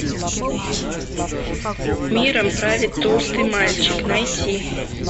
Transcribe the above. миром правит толстый мальчик найти